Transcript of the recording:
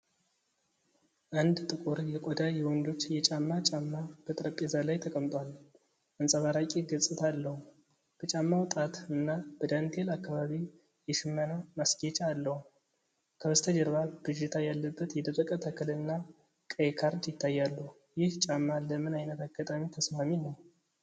አንድ ጥቁር የቆዳ የወንዶች የጫማ ጫማ በጠረጴዛ ላይ ተቀምጧል፤ አንጸባራቂ ገጽታ አለው። በጫማው ጣት እና በዳንቴል አካባቢ የሽመና ማስጌጫ አለው። ከበስተጀርባ ብዥታ ያለበት የደረቀ ተክልና ቀይ ካርድ ይታያሉ። ይህ ጫማ ለምን ዓይነት አጋጣሚ ተስማሚ ነው?